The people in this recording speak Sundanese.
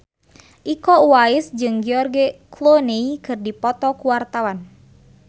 Iko Uwais jeung George Clooney keur dipoto ku wartawan